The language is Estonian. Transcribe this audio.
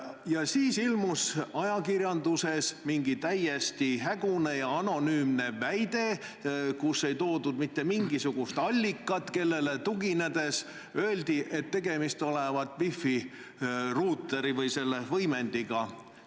Ja siis ilmus ajakirjanduses mingi täiesti hägune ja anonüümne väide, kus ei nimetatud mitte mingisugust allikat, kellele tuginedes öeldi, et tegemist olevat wifi ruuteri või selle võimendiga.